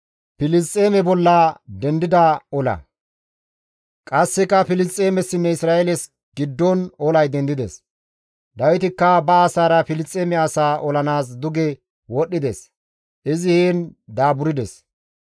Qasseka Filisxeemessinne Isra7eeles giddon olay dendides; Dawitikka ba asaara Filisxeeme asaa olanaas duge wodhdhides; izi heen daaburdes.